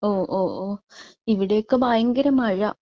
ഓ ഓ ഓ. ഇവിടെയൊക്കെ ഭയങ്കര മഴ.